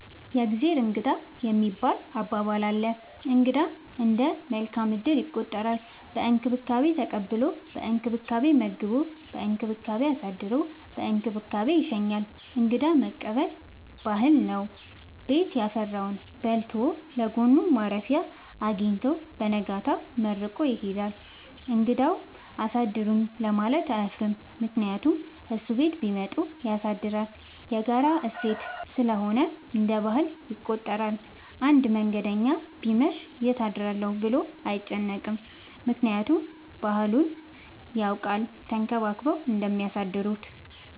የእግዜር እንግዳ የሚባል አባባል አለ። እንግዳ እንደ መልካም እድል ይቆጠራል። በእንክብካቤ ተቀብሎ በእንክብካቤ መግቦ በእንክብካቤ አሳድሮ በእንክብካቤ ይሸኛል። እንግዳ መቀበል ባህል ነው። ቤት ያፈራውን በልቶ ለጎኑ ማረፊያ አጊኝቶ በነጋታው መርቆ ይሄዳል። እንግዳውም አሳድሩኝ ለማለት አያፍርም ምክንያቱም እሱም ቤት ቢመጡ ያሳድራል። የጋራ እሴት ስለሆነ እንደ ባህል ይቆጠራል። አንድ መንገደኛ ቢመሽ ይት አድራለሁ ብሎ አይጨነቅም። ምክንያቱም ባህሉን ያውቃል ተንከባክበው እንደሚያሳድሩት።